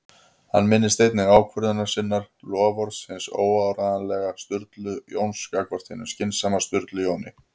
Hann minnist einnig ákvörðunar sinnar- loforðs hins óáreiðanlega Sturlu Jóns gagnvart hinum skynsama Sturlu Jóni